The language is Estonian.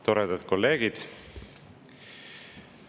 Toredad kolleegid!